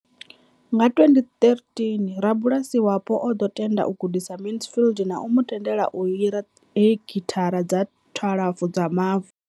Nga 2013, rabulasi wapo o ḓo tenda u gudisa Mansfield na u mu tendela u hira hekithara dza 12 dza mavu.